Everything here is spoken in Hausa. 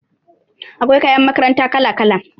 Akwai kayan makaranta kala-kala